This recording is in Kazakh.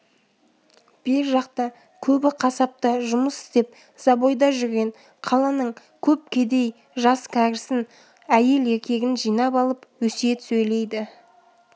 бер жақта көбі қасапта жұмыс істеп забойда жүрген қаланың көп кедей жас кәрісін әйел-еркегін жинап алып өсиет сөйлейді